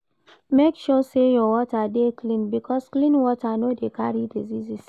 Make sure say your water de clean because clean water no de carry diseases